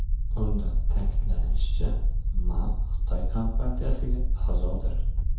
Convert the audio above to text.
Unda ta’kidlanishicha, Ma Xitoy kompartiyasiga a’zodir.